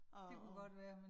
Og